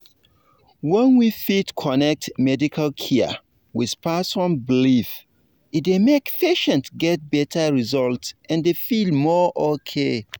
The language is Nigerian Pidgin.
when we fit connect medical care with person belief e dey make patients get better result and feel more okay.